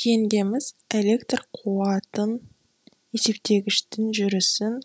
жеңгеміз электр қуатын есептегіштің жүрісін